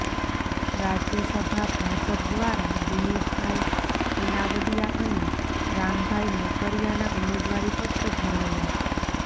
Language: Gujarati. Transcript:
રાજ્યસભા ભાજપ દ્વારા દિનેશભાઇ અનાવડીયા અને રામભાઈ મોકરિયાના ઉમેદવારી પત્રો ભરાયા